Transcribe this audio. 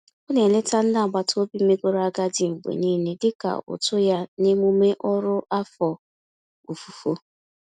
Ọ na-eleta ndị agbataobi megoro agadi mgbe niile dị ka utu ya n'emume ọrụ afọ ofufo.